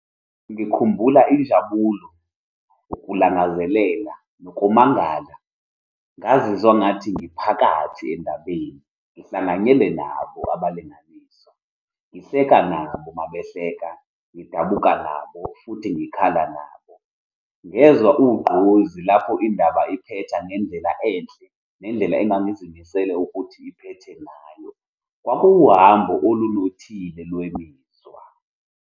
Ngikhumbula injabulo, ukulangazelela, nokumangala. Ngazizwa ngathi ngiphakathi endabeni, ngihlanganyele nabo abalingiswa, ngihleka nabo mabehleka, ngidabuka nabo, futhi ngikhala nabo. Ngezwa ugqozi lapho indaba iphetha ngendlela enhle nendlela engangizimisele ukuthi iphethe nayo. Kwakuwuhambo olunothile lwemizwa.